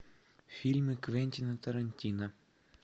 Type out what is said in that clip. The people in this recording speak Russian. фильмы квентина тарантино